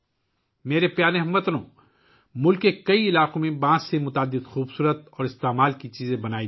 میرے پیارے ہم وطنو، ملک کے کئی علاقوں میں بانس سے بہت سی خوبصورت اور مفید چیزیں بنائی جاتی ہیں